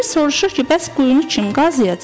Biri soruşur ki, bəs quyunu kim qazıyacaq?